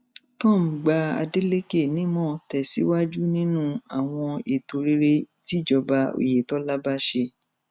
tom gba adeleke nímọ tẹsíwájú nínú àwọn ètò rere tíjọba oyetola bá ṣe